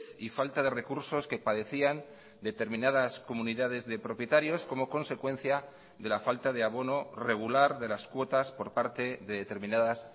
y falta de recursos que padecían determinadas comunidades de propietarios como consecuencia de la falta de abono regular de las cuotas por parte de determinadas